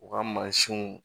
U ka mansinw